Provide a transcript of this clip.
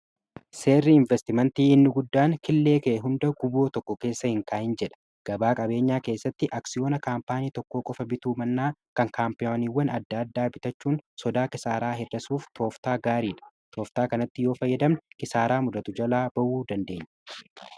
seerrii investimantii hinni guddaan killee kee hunda guboo tokko keessa hin kaain jedha gabaa qabeenyaa keessatti aksiyoona kaampaanii tokkoo qofa bituu mannaa kan kaampayoniiwwan adda addaa bitachuun sodaa kisaaraa hedasuuf tooftaa gaariidha tooftaa kanatti yoo fayyadamne kisaaraa muddatu jalaa ba'uu dandeenye